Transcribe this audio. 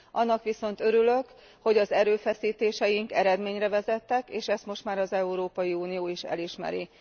Annak viszont örülök, hogy az erőfeszítéseink eredményre vezettek, és ezt most már az Európai Unió is elismeri.